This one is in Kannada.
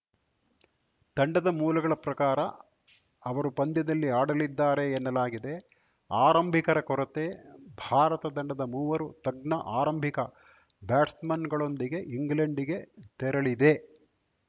ತಂಡದ ಮೂಲಗಳ ಪ್ರಕಾರ ಅವರು ಪಂದ್ಯದಲ್ಲಿ ಆಡಲಿದ್ದಾರೆ ಎನ್ನಲಾಗಿದೆ ಆರಂಭಿಕರ ಕೊರತೆ ಭಾರತ ತಂಡದ ಮೂವರು ತಜ್ಞ ಆರಂಭಿಕ ಬ್ಯಾಟ್ಸ್‌ಮನ್‌ಗಳೊಂದಿಗೆ ಇಂಗ್ಲೆಂಡ್‌ಗೆ ತೆರಳಿದೆ